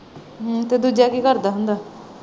ਅਮ ਤੇ ਦੂਜਾ ਕੀ ਕਰਦਾ ਹੁੰਦਾ?